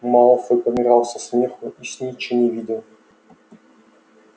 малфой помирал со смеху и снитча не видел